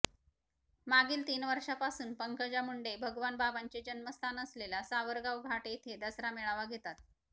मागील तीन वर्षापासून पंकजा मुंडे भगवान बाबांचे जन्मस्थान असलेल्या सावरगाव घाट येथे दसरा मेळावा घेतात